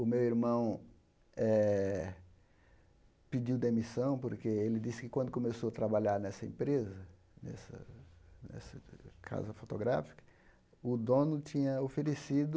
O meu irmão eh pediu demissão porque ele disse que quando começou a trabalhar nessa empresa, nessa nessa casa fotográfica, o dono tinha oferecido